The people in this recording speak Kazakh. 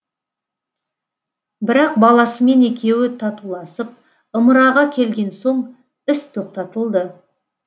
бірақ баласымен екеуі татуласып ымыраға келген соң іс тоқтатылды